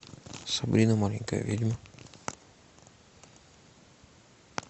сабрина маленькая ведьма